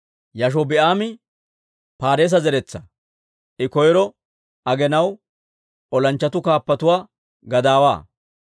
Yaashobi'aami Paareesa zeretsaa; I koyro aginaw olanchchatuu kaappatuwaa gadaawuwaa.